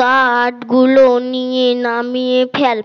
কাঠগুলো নিয়ে নামিয়ে ফেল